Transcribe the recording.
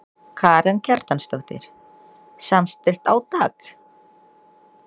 Karen Kjartansdóttir: Samstillt átak?